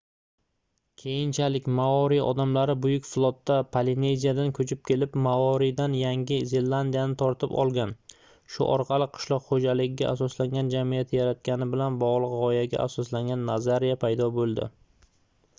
keyinchalik maori odamlari buyuk flotda polineziyadan koʻchib kelib morioridan yangi zelandiyani tortib olgani shu orqali qishloq xoʻjaligiga asoslangan jamiyat yaratgani bilan bogʻliq gʻoyaga asoslangan nazariya paydo boʻldi